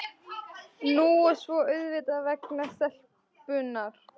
Nú og svo auðvitað vegna stelpunnar.